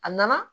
A nana